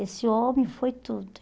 Esse homem foi tudo.